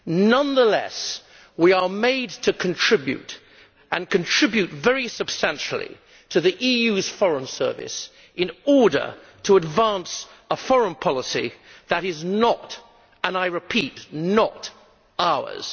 Nonetheless, we are made to contribute and to contribute very substantially to the EU's Foreign Service in order to advance a foreign policy that is not I repeat not ours.